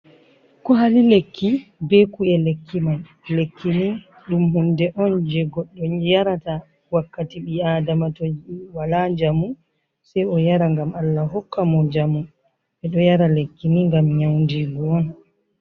Kuwali lekki be ku'e lekki man, lekkini ɗum hunde on jey goɗɗo yarata wakkati bi-aadama toyi wala njamu sey o yara ngam Allah hokka mo njamu. Ɓe ɗo yara lekki ni ngam nyawndiingu on.